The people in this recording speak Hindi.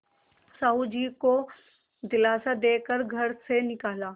साहु जी को दिलासा दे कर घर से निकाला